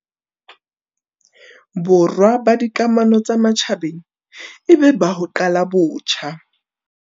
Borwa la dika mano tsa matjhabeng e be la ho qala botjha.